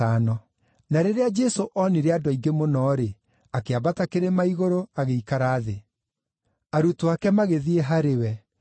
Na rĩrĩa Jesũ oonire andũ aingĩ mũno-rĩ, akĩambata kĩrĩma-igũrũ, agĩikara thĩ. Arutwo ake magĩthiĩ harĩ we.